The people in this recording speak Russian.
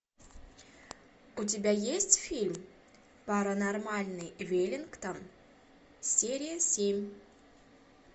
у тебя есть фильм паранормальный веллингтон серия семь